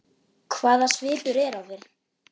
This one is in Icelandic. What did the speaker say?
Hvaða svipur er á þér!